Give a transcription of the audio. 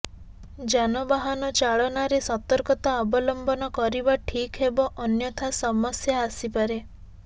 ଯାନବାହନ ଚାଳନାରେ ସତର୍କତା ଅବଲମ୍ବନ କରିବା ଠିକ୍ ହେବ ଅନ୍ୟଥା ସମସ୍ୟା ଆସିପାରେ